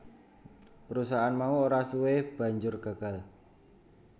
Perusahaan mau ora suwe banjur gagal